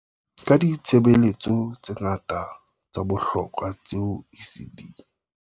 Ka ditshebeletso tse ngata tsa bohlokwa tseo ECD